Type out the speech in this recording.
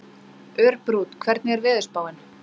Örbrún, hvernig er veðurspáin?